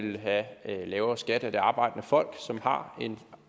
have lavere skat af det arbejdende folk som har